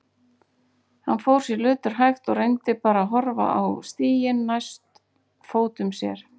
Hann fór sér löturhægt og reyndi bara að horfa á stíginn næst fótum sér.